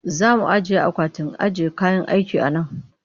Za mu ajiye akwatin ajiye kayan aiki a nan